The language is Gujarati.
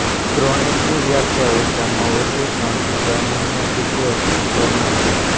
ક્રોનિકની વ્યાખ્યા ઓછામાં ઓછી ત્રણથી છ મહિના સુધી અસ્તિત્વમાં છે